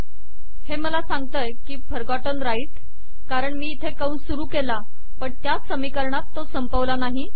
हे मला सांगते आहे की फरगॉटन राइट कारण मी इथे कंस सुरु केला पण त्याच समीकरणात तो संपवला नाही